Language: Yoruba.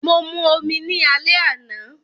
Mo mu omi ni alẹ́ àná